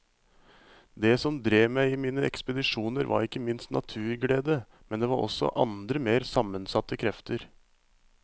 Det som drev meg i mine ekspedisjoner var ikke minst naturglede, men det var også andre mer sammensatte krefter.